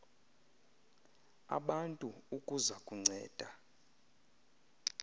abantu ukuza kunceda